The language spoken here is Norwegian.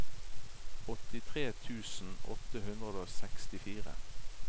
åttitre tusen åtte hundre og sekstifire